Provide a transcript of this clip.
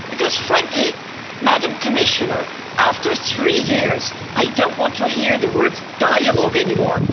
Because frankly, Madam Commissioner, after three years I don't want to hear the word dialogue' anymore.